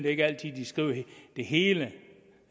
ikke altid de skriver det hele